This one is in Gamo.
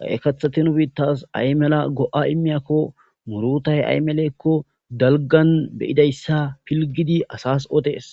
qaye kathati nu biittas aymela go'a immiyakko murutay aymelekko dalgan beyidayssa pilgidi asas odees.